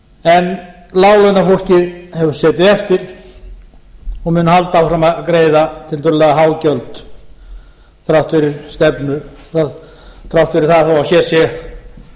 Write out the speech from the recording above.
en láglaunafólkið hefur setið eftir og mun halda áfram að greiða tiltölulega há gjöld þrátt fyrir það þó að hér sé